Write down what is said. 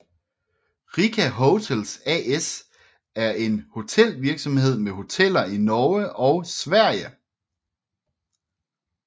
Rica Hotels AS er en hotelvirksomhed med hoteller i Norge og Sverige